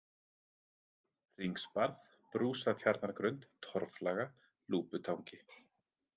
Hringsbarð, Brúsatjarnargrund, Torfflaga, Lúputangi